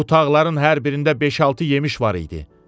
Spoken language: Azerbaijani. Bu tağların hər birində beş-altı yemiş var idi.